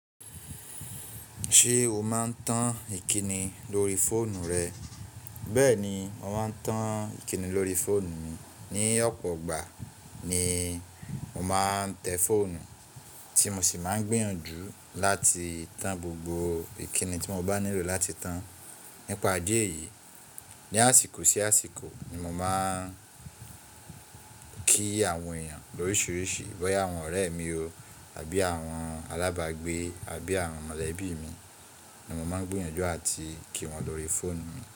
Ṣé o máa ń tan ìkíni lórí fóònù rẹ? Bẹ́ẹ̀ni, mo máa ń tan ìkíni lórí fóònù mi. Ni ọ̀pọ̀ ìgbà ni mo máa ń tẹ fóònù, tí mo sì máa ń gbìnyànjú láti tan gbogbo ìkíni tí mo bá nílò láti tan nípa díẹ̀ yìí. Ni àsìkò sí àsìkò ni mo máa ń kí àwọn èèyàn lóríṣiríṣi, bóyá àwọn ọ̀rẹ́ mi o, àbí àwọn alábàágbé, àbí àwọn mọ̀lẹ́bí mi ni mo máa ń gbìnyànjú àti kí wọn lórí fóònù mi.